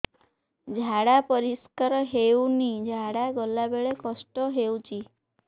ଝାଡା ପରିସ୍କାର ହେଉନି ଝାଡ଼ା ଗଲା ବେଳେ କଷ୍ଟ ହେଉଚି